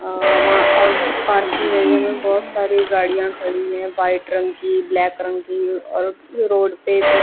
और और parking area में बहोत सारी गाड़ियां खड़ी है वाइट रंग की ब्लैक रंग की और रोड पे एक--